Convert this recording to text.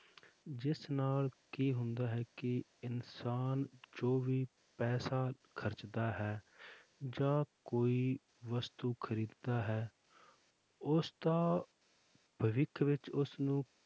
ਜਿਸ ਨਾਲ ਕੀ ਹੁੰਦਾ ਹੈ ਕਿ ਇਨਸਾਨ ਜੋ ਵੀ ਪੈਸਾ ਖਰਚਦਾ ਹੈ ਜਾਂ ਕੋਈ ਵਸਤੂ ਖ਼ਰੀਦਦਾ ਹੈ ਉਸ ਦਾ ਭਵਿੱਖ ਵਿੱਚ ਉਸਨੂੰ